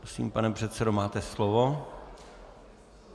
Prosím, pane předsedo, máte slovo.